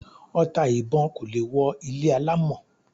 Ọta ìbọn kò lè wọ ilé alámọ̀